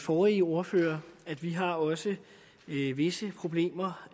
forrige ordfører vi har også visse problemer